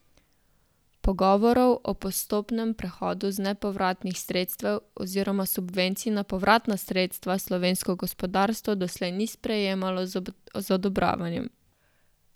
Pogovorov o postopnem prehodu z nepovratnih sredstev oziroma subvencij na povratna sredstva slovensko gospodarstvo doslej ni sprejemalo z odobravanjem.